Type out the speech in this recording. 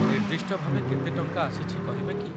ନିର୍ଦ୍ଦିଷ୍ଟ ଭାବେ କେତେ ଟଙ୍କା ଆସିଛି କହିବେ କି ?